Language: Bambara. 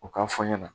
U k'a fɔ n ɲɛna